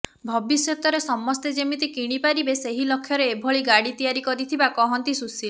ଭବିଷ୍ୟତରେ ସମସ୍ତେ ଯେମିତି କିଣିପାରିବେ ସେଇ ଲକ୍ଷ୍ୟରେ ଏଭଳି ଗାଡି ତିଆରି କରିଥିବା କୁହନ୍ତି ସୁଶୀଲ୍